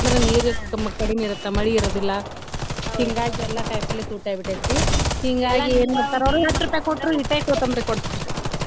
ನೀರ ಅದು ಎಲ್ಲ ಕಮ್ಮಿ ಕಡಿಮಿ ಇರುತ್ತ ಮಳಿ ಇರೋದಿಲ್ಲಾ ಹಿಂಗಾಗಿ ಎಲ್ಲಾ ಕಾಯಿಪಲ್ಲೆ ತುಟ್ಟಿ ಆಗಿ ಬಿಟ್ಟೆತಿರಿ ಹಿಂಗಾಗಿ ಏನ ಮಾಡತಾರ ಅವ್ರು .